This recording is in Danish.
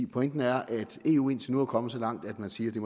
pointen er at eu indtil nu er kommet så langt at man siger at det